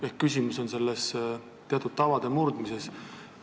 Ehk küsimus on teatud tavade murdmises.